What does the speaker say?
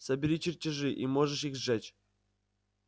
собери чертежи и можешь их сжечь